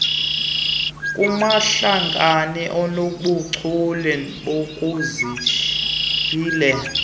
kumahlakani anobuchule bokuziyilela